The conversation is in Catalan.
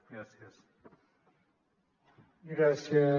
gràcies